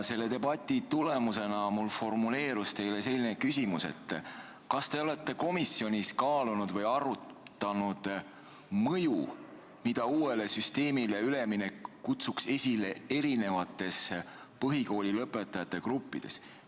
Selle debati tulemusena formuleerus mul teile selline küsimus: kas te olete komisjonis kaalunud või arutanud mõju, mida uuele süsteemile üleminek kutsuks esile erinevates põhikoolilõpetajate gruppides?